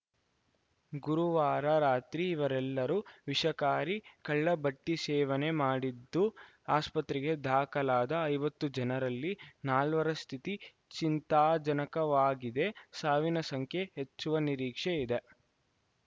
ಗುರುವಾರ ರಾತ್ರಿ ಇವರೆಲ್ಲರೂ ವಿಷಕಾರಿ ಕಳ್ಳಭಟ್ಟಿಸೇವನೆ ಮಾಡಿದ್ದು ಆಸ್ಪತ್ರೆಗೆ ದಾಖಲಾದ ಐವತ್ತು ಜನರಲ್ಲಿ ನಾಲ್ವರ ಸ್ಥಿತಿ ಚಿಂತಾಜನಕವಾಗಿದೆ ಸಾವಿನ ಸಂಖ್ಯೆ ಹೆಚ್ಚುವ ನಿರೀಕ್ಷೆ ಇದೆ